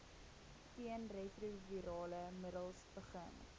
teenretrovirale middels begin